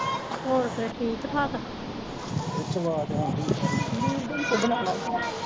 ਹੋਰ ਫੇਰ ਠੀਕ ਠਾਕ ਬਣਾ ਲੈ ਫੇਰ